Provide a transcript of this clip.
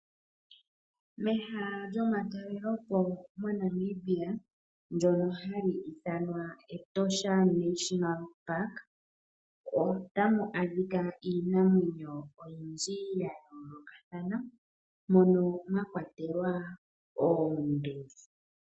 Mehala lyomatalelopo moNamibia ndyono hali ithanwa Etosha National Park otamu adhika iimamwenyo oyindji ya yoolokathana mono mwa kwatelwa oonduli.